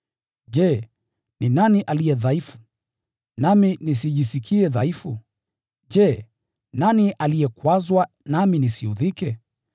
Je, ni nani aliye mdhaifu, nami nisijisikie mdhaifu? Je, nani aliyekwazwa, nami nisiudhike?